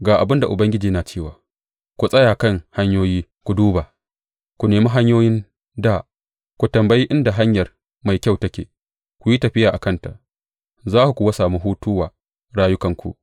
Ga abin da Ubangiji yana cewa, Ku tsaya kan hanyoyi, ku duba; ku nemi hanyoyin dā, ku tambaya inda hanyar mai kyau take, ku yi tafiya a kanta, za ku kuwa sami hutu wa rayukanku.